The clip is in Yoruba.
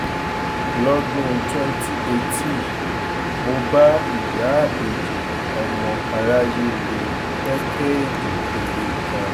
lọ́dún twenty eighteen mo bá ìyáábèjì ọmọ aráyé le pẹ́kẹ́ẹ̀jì ère kan